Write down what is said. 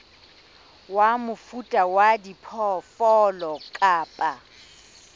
wa mofuta wa diphoofolo kapa